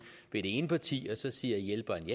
ved det ene parti og så siger hjælperen